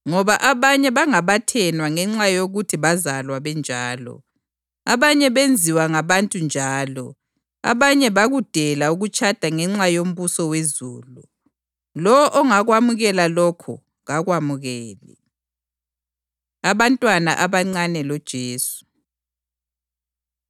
Ngoba abanye bangabathenwa ngenxa yokuthi bazalwa benjalo, abanye benziwa ngabantu njalo abanye bakudela ukutshada ngenxa yombuso wezulu. Lowo ongakwamukela lokho kakwemukele.” Abantwana Abancane LoJesu